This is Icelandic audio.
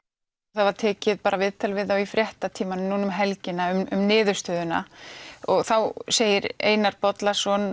það var tekið bara viðtal við þá í fréttatímanum núna um helgina um niðurstöðuna og þá segir Einar Bollason